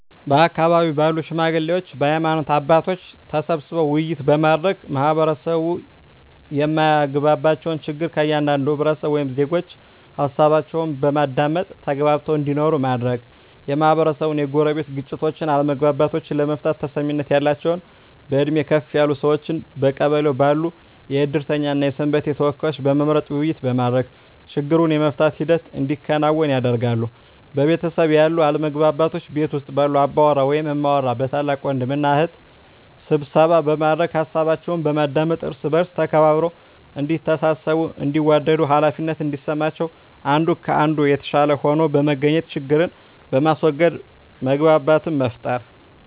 በአካባቢው ባሉ ሽማግሌዎች በሀይማኖት አባቶች ተሰብስበው ውይይት በማድረግ ማህበረሰቡ የማያግባባቸውን ችግር ከእያንዳንዱ ህብረተሰብ ወይም ዜጎች ሀሳባቸውን በማዳመጥ ተግባብተው እንዲኖሩ ማድረግ, የማህበረሰቡን የጎረቤት ግጭቶችን አለመግባባቶችን ለመፍታት ተሰሚነት ያላቸውን በእድሜ ከፍ ያሉ ሰዎችን በቀበሌው ባሉ የእድርተኛ እና የሰንበቴ ተወካዮችን በመምረጥ ውይይት በማድረግ ችግሩን የመፍታት ሂደት እንዲከናወን ያደርጋሉ። በቤተሰብ ያሉ አለመግባባቶችን ቤት ውስጥ ባሉ አባወራ ወይም እማወራ በታላቅ ወንድም እና እህት ስብሰባ በማድረግ ሀሳባቸውን በማዳመጥ እርስ በእርስ ተከባብረው እዲተሳሰቡ እንዲዋደዱ ሃላፊነት እንዲሰማቸው አንዱ ከአንዱ የተሻለ ሆኖ በመገኘት ችግርን በማስዎገድ መግባባትን መፍጠር።